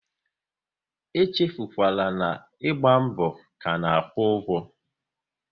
E echefukwala, ịgba mbọ ka na-akwụ ụgwọ!